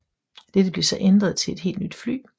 Dette blev så ændret til et helt nyt fly